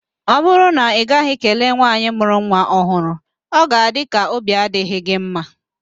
Ọ bụrụ na ị gaghị kelee nwaanyị mụrụ nwa ọhụrụ, ọ ga-adị ka óbí adịghị gị mma